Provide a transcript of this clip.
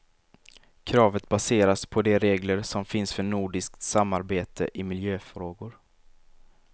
Kravet baseras på de regler som finns för nordiskt samarbete i miljöfrågor.